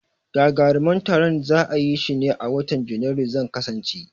Gagaruman taron za'a yishi ne a watan Janairu, zan kasance